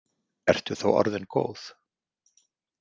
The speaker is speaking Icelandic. Ertu þá orðin góð?